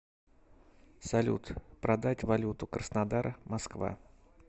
салют продать валюту краснодар москва